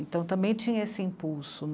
Então também tinha esse impulso.